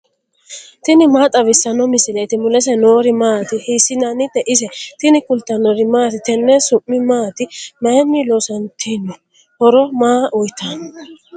tini maa xawissanno misileeti ? mulese noori maati ? hiissinannite ise ? tini kultannori maati? tenne su'mi maatti? mayiinni loosanittinno? horo maa uyiittanno?